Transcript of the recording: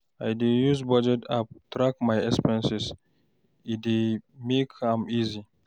I dey use budget app track my expenses, e dey make am easy.